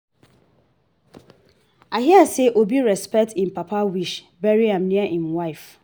i hear say obi respect im papa wish bury am near im wife